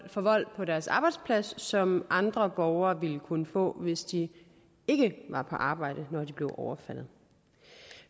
for vold på deres arbejdsplads som andre borgere ville kunne få hvis de ikke var på arbejde da de blev overfaldet